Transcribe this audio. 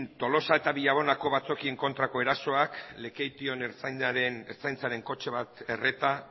tolosa eta villabonako batzokien kontrako erasoak lekeition ertzainaren kotxe bat erreta